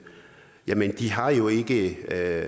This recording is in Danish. det